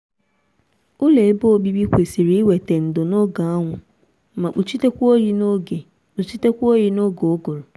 ụlọ ebe obibi kwesịrị iweta ndo n'oge anwụ mae kpuchitekwa oyi n'oge kpuchitekwa oyi n'oge ụgụrụ